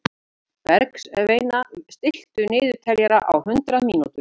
Bergsveina, stilltu niðurteljara á hundrað mínútur.